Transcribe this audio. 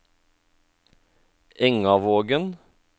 Engavågen